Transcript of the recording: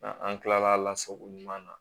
An kilala sago ɲuman na